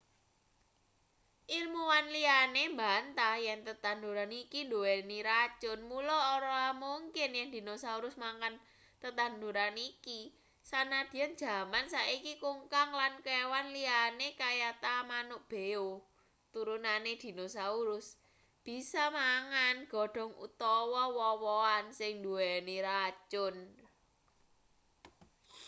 ilmuwan liyane mbantah yen tetanduran iki nduweni racun mula ora mungkin yen dinosaurus mangan tetanduran iki sanadyan jaman saiki kungkang lan kewan liyane kayata manuk beo turunane dinosaurus bisa mangan godhong utawa woh-wohan sing nduweni racun